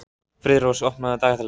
Friðrós, opnaðu dagatalið mitt.